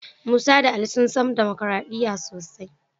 Musa da Ali sun san damakaraɗiya sosai.